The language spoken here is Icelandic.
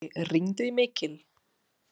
Oddfreyr, hringdu í Mikil.